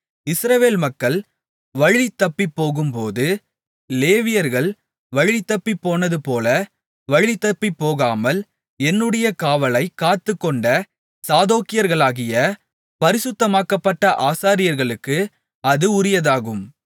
இஸ்ரவேல் மக்கள் வழிதப்பிப்போகும்போது லேவியர்கள் வழிதப்பிப்போனதுபோல வழிதப்பிப்போகாமல் என்னுடைய காவலைக் காத்துக்கொண்ட சாதோக்கியர்களாகிய பரிசுத்தமாக்கப்பட்ட ஆசாரியர்களுக்கு அது உரியதாகும்